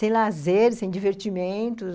Sem lazeres, sem divertimentos.